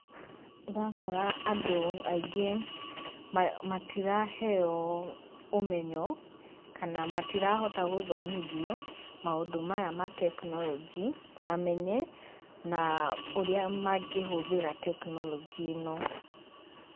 Ũrakora andũ aingĩ matiraheo ũmenyo, kana matirahota gũthomithio maũndũ maya ma tekinorojĩ mamenye, na ũrĩa mangĩhũthĩra tekinorojĩ ĩno.